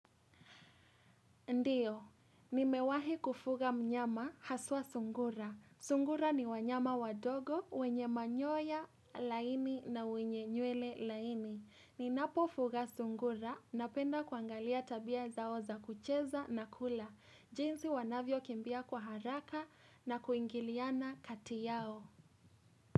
Ndiyo. Nimewahi kufuga mnyama haswa sungura. Sungura ni wanyama wadogo wenye manyoya laini na wenye nywele laini. Ninapofuga sungura napenda kuangalia tabia zao za kucheza na kula. Jinsi wanavyo kimbia kwa haraka na kuingiliana kati yao.